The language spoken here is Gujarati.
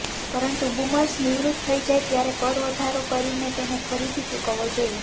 પરંતુ બૂમર્સ નિવૃત્ત થઈ જાય ત્યારે કર વધારો કરીને તેને ફરીથી ચૂકવવો જોઈએ